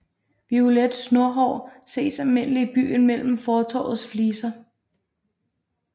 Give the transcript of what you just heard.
Violet Snohår ses almindeligt i byen mellem fortovets fliser